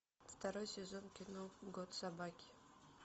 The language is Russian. второй сезон кино год собаки